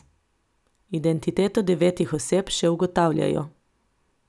Identiteto devetih oseb še ugotavljajo.